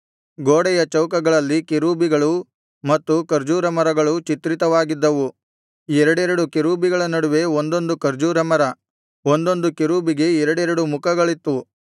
ಗೋಡೆಯ ಚೌಕಗಳಲ್ಲಿ ಕೆರೂಬಿಗಳೂ ಮತ್ತು ಖರ್ಜೂರ ಮರಗಳೂ ಚಿತ್ರಿತವಾಗಿದ್ದವು ಎರಡೆರಡು ಕೆರೂಬಿಗಳ ನಡುವೆ ಒಂದೊಂದು ಖರ್ಜೂರ ಮರ ಒಂದೊಂದು ಕೆರೂಬಿಗೆ ಎರಡೆರಡು ಮುಖಗಳಿತ್ತು